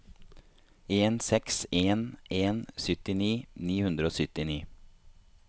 en seks en en syttini ni hundre og syttini